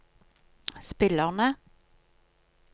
spillerne